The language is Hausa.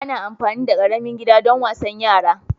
Ana amfani da ƙaramin gida don wasan yara